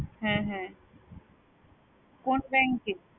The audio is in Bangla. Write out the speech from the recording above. হ্যাঁ হ্যাঁ কোন bank এ?